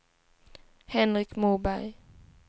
Henrik Moberg